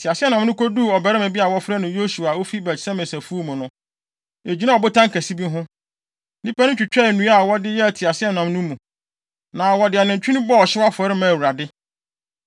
Teaseɛnam no koduu ɔbarima bi a wɔfrɛ no Yosua a ofi Bet-Semes afuw mu no, egyinaa ɔbotan kɛse bi ho. Nnipa no twitwaa nnua a wɔde yɛɛ teaseɛnam no mu. Na wɔde anantwi no bɔɔ ɔhyew afɔre maa Awurade.